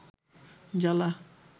জ্বালা